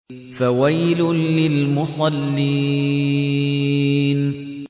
فَوَيْلٌ لِّلْمُصَلِّينَ